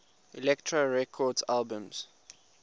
elektra records albums